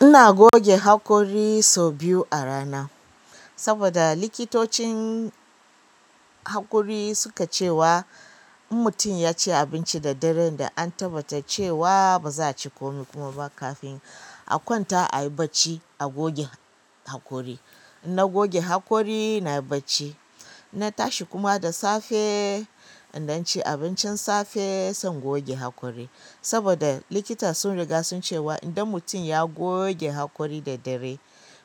Ina goge haƙori sau biyu a rana saboda likiticin haƙori suka cewa in mutum yaci abinci da dare an tabbatar da cewa baza a ci komi ba kafin a kwanta ayi bacci a goge haƙori. Na goge haƙori, na yi bacci, na tashi kuma da safe, indan ci abincin safe, sai in goge haƙori. Saboda likita sun riga sun cewa idan mutum ya goge haƙori da dare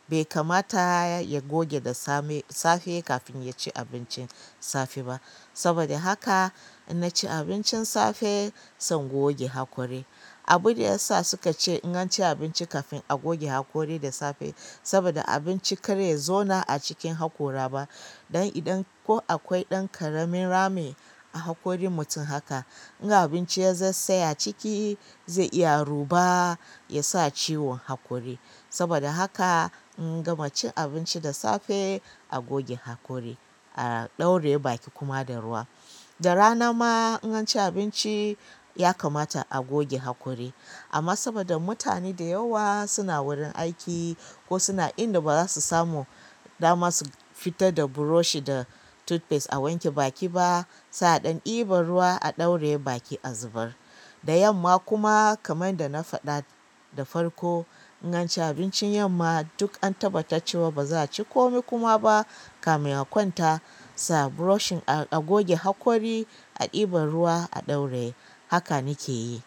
bai kamata ya goge da safe kafin ya ci abincin safe ba. Saboda haka na ci abincin safe, zan goge haƙori. Abun da ya sa suka ce in ganci abinci kafin a goge haƙori da safe saboda abinci kare ya zauna a cikin haƙora ba. Dan idan ko akwai ɗan ƙaramin rami a haƙorin mutum haka, in abinci ya zai tsaya a ciki zai iya ruba, ya sa ciwon haƙori. Saboda haka na gama cin abinci da safe, a goge haƙori, a ɗauraye baki kuma da ruwa. Da rana ma in anci abinci ya kamata a goge haƙori. Amma saboda mutane da yawa suna wurin aiki ko suna inda ba za su samu dama su fita da buroshi da tutpes a wanke baki ba, za a ɗan ɗiba ruwa a ɗauraye baki a zubar. Da yamma kuma kamar da na faɗa da farko, in anci abincin yamma duk an tabbatar cewa ba za ci komai kuma ba kamin a kwanta, sai a buroshin a goge haƙori, a ɗiba ruwa, a ɗauraye. Haka na ke yi.